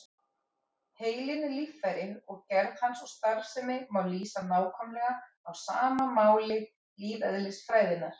Heilinn er líffæri og gerð hans og starfsemi má lýsa nákvæmlega á máli lífeðlisfræðinnar.